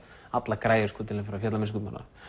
allar græjur til að fara í fjallamennsku bara